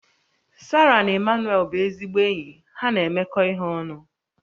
Sarah na Emmanuel bụ ezigbo enyi ha na-emekọ ihe ọnụ